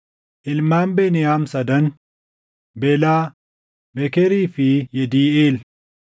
Ilmaan Beniyaam sadan: Belaa, Bekerii fi Yediiʼeel.